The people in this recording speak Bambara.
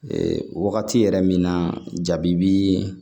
Ee wagati yɛrɛ min na jabi bi